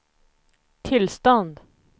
tillstånd